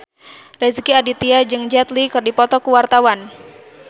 Rezky Aditya jeung Jet Li keur dipoto ku wartawan